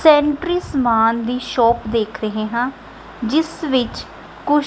sanitary ਸਮਾਨ ਦੀ shop ਦੇਖ ਰਹੇਂ ਹਾਂ ਜਿਸ ਵਿੱਚ ਕੂ--